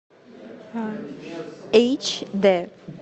эйч д